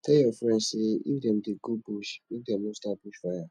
tell your friends sey if dem dey go bush make dem no start bush fire